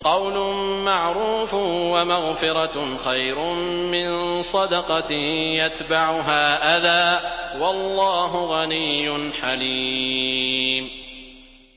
۞ قَوْلٌ مَّعْرُوفٌ وَمَغْفِرَةٌ خَيْرٌ مِّن صَدَقَةٍ يَتْبَعُهَا أَذًى ۗ وَاللَّهُ غَنِيٌّ حَلِيمٌ